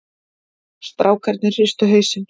Strákarnir hristu hausinn.